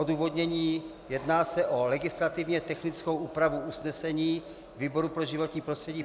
Odůvodnění: Jedná se o legislativně technickou úpravu usnesení výboru pro životní prostředí.